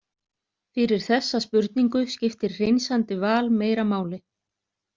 Fyrir þessa spurningu skiptir hreinsandi val meira máli.